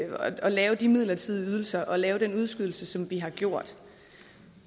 lave de midlertidige ydelser og lave den udskydelse som vi har gjort